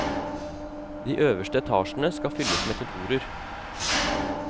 De øverste etasjene skal fylles med kontorer.